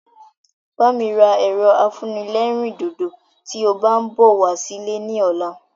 Bá mi ra ẹ̀rọ afúnẹlérìndòdò tí o bá ń bọ̀ wá sí ilé ní ọ̀la